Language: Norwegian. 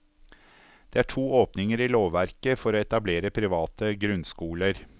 Det er to åpninger i lovverket for å etablere private grunnskoler.